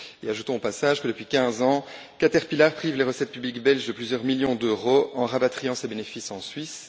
Ajoutons au passage que, depuis 15 ans, Caterpillar prive les recettes publiques belges de plusieurs millions d'euros en rapatriant ses bénéfices en Suisse.